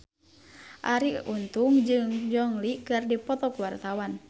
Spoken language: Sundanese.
Arie Untung jeung Gong Li keur dipoto ku wartawan